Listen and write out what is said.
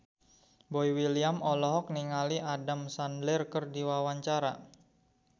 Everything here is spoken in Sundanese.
Boy William olohok ningali Adam Sandler keur diwawancara